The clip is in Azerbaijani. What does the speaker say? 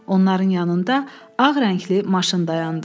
Onların yanında ağ rəngli maşın dayandı.